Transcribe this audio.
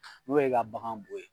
N'o y'e ka bagan bo ye